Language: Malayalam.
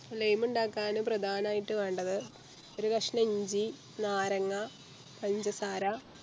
lime ഇണ്ടാക്കാന് പ്രധാനായിറ്റ് വേണ്ടത് ഒരു കഷ്ണം ഇഞ്ചി നാരങ്ങാ പഞ്ചസാര